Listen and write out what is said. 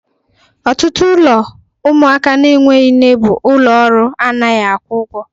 Ọtụtụ ụlọ ụmụaka na-enweghị nne bụ ụlọ ọrụ anaghị akwụ ụgwọ.